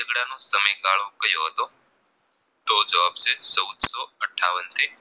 તો જવાબ છે ચૌદસો અઠાવન થી